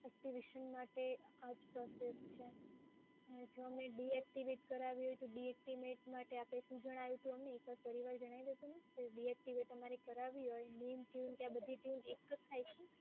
Activation માટે આ જ પ્રોસેસ છે અને જો અમે ડીએક્ટિવેટ કરાવી હોય તો ડીએક્ટિવેટ માટે આપે શું જણાવ્યું હતું, એક વાર ફરી જણાવી દેશો મેમ. ડીએક્ટિવેટ અમારે કરાવી હોય name tune ત્યાં બધી ટયુન એક જ થાય છે?